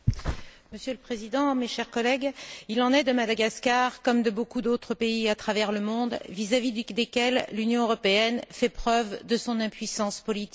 Monsieur le Président, mes chers collègues, il en est de Madagascar comme de beaucoup d'autres pays à travers le monde, vis à vis desquels l'Union européenne témoigne de son impuissance politique.